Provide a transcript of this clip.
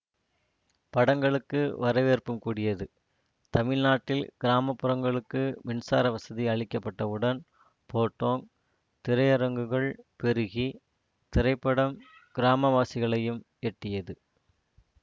படங்களுக்கு வரவேற்பும் கூடியது தமிழ்நாட்டில் கிராமப்புறங்களுக்கு மின்சார வசதி அளிக்கப்பட்டவுடன் போட்டோங் திரையரங்குகள் பெருகி திரைப்படம் கிராமவாசிகளையும் எட்டியது